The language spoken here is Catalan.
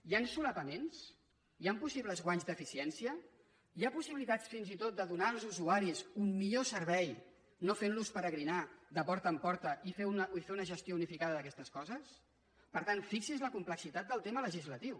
hi han solapaments hi han possibles guanys d’eficiència hi ha possibilitats fins i tot de donar als usuaris un millor servei no fent los peregrinar de porta en porta i fer una gestió unificada d’aquestes coses per tant fixi’s la complexitat del tema legislatiu